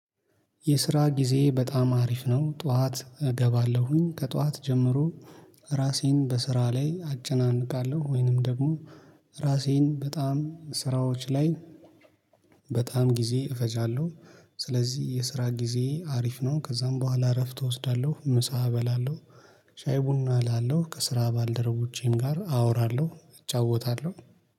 የስራ ጊዜ በጣም አሪፍ ነው። ጠዋት እገባለሁኝ ከጠዋት ጀምሮ ራሴን በስራ ላይ አጨናንቃለሁ ወይንም ደግሞ ራሴን በጣም ስራዎች ላይ በጣም ጊዜ እፈጃለሁ። ስለዚህ የስራ ጊዜ አሪፍ ነው። ከዛም በኋላ እረፍት እወስዳለሁ ምሳ እበላለሁ። ሻይ ቡና እላለሁ ከስራ ባልደረቦቼም ጋር አወራለሁ እጫወታለሁ።